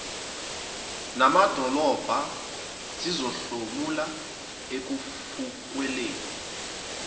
namadolobha zizohlomula ekufukulweni